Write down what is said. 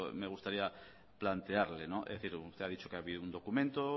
me gustaría plantearle es decir usted ha dicho que ha habido un documento